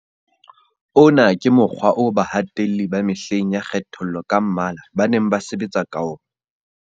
Ona ke mokgwa oo bahatelli ba mehleng ya kgethollo ka mmala ba neng ba sebetsa ka ona.